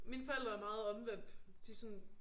Mine forældre er meget omvendt de sådan